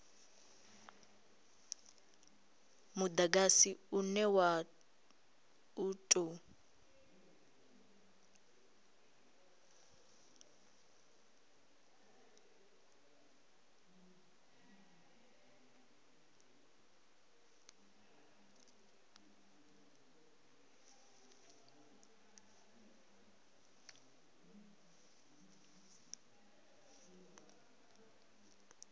mudagasi une wa u tou